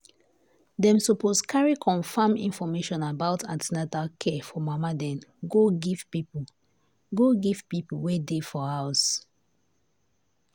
dem suppose carry confam information about an ten atal care for mama dem go give people go give people wey dey for house.